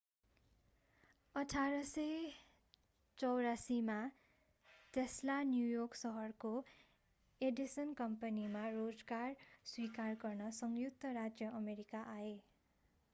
1884 मा Tesla New York शहरको Edison कम्पनीमा रोजगार स्वीकार गर्न संयुक्त राज्य अमेरिका आए